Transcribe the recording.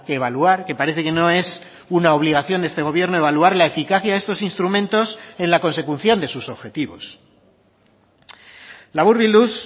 evaluar que parece que no es una obligación de este gobierno evaluar la eficacia de estos instrumentos en la consecución de sus objetivos laburbilduz